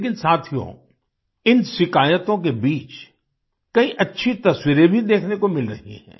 लेकिन साथियो इन शिकायतों के बीच कई अच्छी तस्वीरें भी देखने को मिल रही हैं